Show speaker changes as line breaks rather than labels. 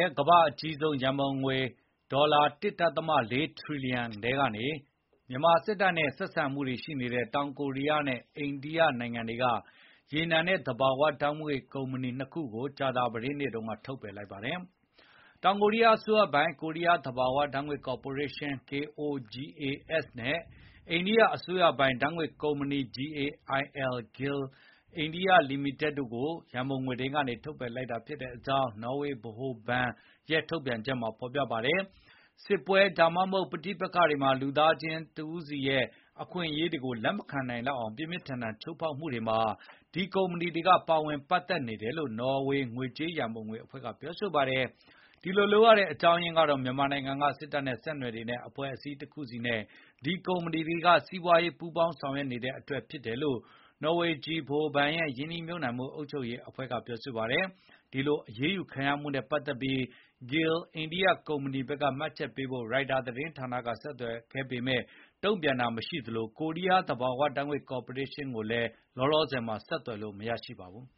ဲ့ ကမ္ဘာ့အကြီးဆုံး အရန်ငွေကြေး ရန်ပုံငွေ ဒေါ်လာ ၁.၄ ထရီလီယံ ကနေ မြန်မာစစ်တပ်နဲ့ ဆက်ဆံရေးရှိတဲ့ တောင်ကိုရီးယားနဲ့ အိန္ဒိယနိုင်ငံတွေက ရေနံနဲ့ သဘာဝဓာတ်ငွေ့ ကုမ္ပဏီနှစ်ခုကို ကြာသပတေးနေ့က ဖယ်ထုတ်လိုက်ပါတယ်။ တောင်ကိုရီးယားအစိုးရပိုင် ကိုရီးယားသဘာဝဓာတ်ငွေ့ကော်ပိုရေးရှင်း (KOGAS) နဲ့ အိန္ဒိယအစိုးရပိုင် ဓာတ်ငွေ့ကုမ္ပဏီ GAIL အိန္ဒိယ လီမိတက်တွေကို ရန်ပုံငွေထဲကနေ ဖယ်ထုတ်ထားကြောင်း နော်ဝေဗဟိုဘဏ် Norges ဘဏ်ရဲ့ ထုတ်ပြန်ချက်မှာ ဖော်ပြထားပါတယ်။ စစ်ပွဲ ဒါမှမဟုတ် ပဋိပက္ခ အခြေအနေတွေမှာ လူသား တဦးချင်းစီရဲ့ အခွင့်အရေးတွေကို ပြင်းပြင်းထန်ထန် ချိုးဖောက်နေတာတွေကို ဒီကုမ္ပဏီတွေက ပါဝင်ပတ်သက်နေပြီး လက်သင့်ခံနိုင်ဖွယ်မရှိတဲ့ အန္တရာယ်တွေ ပေးနေတယ်လို့ ငွေကြေးရန်ပုံငွေအဖွဲ့က ပြောပါတယ်။ ဒီလို လုပ်ရတဲ့ “နောက်ခံအကြောင်းအရင်းကတော့ မြန်မာနိုင်ငံက စစ်တပ်နဲ့ ဆက်နွယ်နေတဲ့ အဖွဲ့အစည်းတခုနဲ့ ဒီကုမ္ပဏီတွေက စီးပွားရေးအရ ပူးပေါင်းဆောင်ရွက်မှုပါပဲ” လို့ Norges ဗဟိုဘဏ်ရဲ့ ရင်းနှီးမြှုပ်နှံမှု အုပ်ချုပ်ရေးအဖွဲ့က ပြောပါတယ်။ ဒီလို အရေးယူခံရမှုနဲ့ ပတ်သက်ပြီး GAIL အိန္ဒိယ ကုမ္ပဏီဘက်က မှတ်ချက်ပေးဖို့ Reuters သတင်းဌာနက ဆက်သွယ်ခဲ့ပေမယ့် တုံ့ပြန်ခြင်း မရှိသလို ကိုရီးယား သဘာဝဓာတ်ငွေ့ကော်ပိုရေးရှင်းကလည်း အခုလောလောဆယ် ဆက်သွယ်
လို့ မရပါဘူး